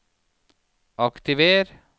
aktiver